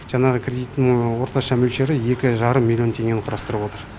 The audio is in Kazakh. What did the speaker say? жаңағы кредиттің орташа мөлшері екі жарым миллион теңгені құрастырып отыр